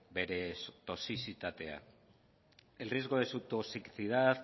bere toxizitatea el riesgo de su toxicidad